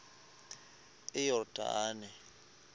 iyordane